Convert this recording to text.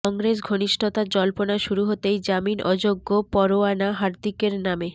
কংগ্রেস ঘনিষ্ঠতার জল্পনা শুরু হতেই জামিন অযোগ্য পরোয়ানা হার্দিকের নামে